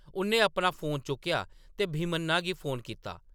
उʼन्नै अपना फोन चुक्केआ ते भीमन्ना गी फोन कीता ।